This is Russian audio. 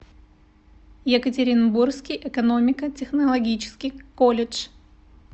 екатеринбургский экономико технологический колледж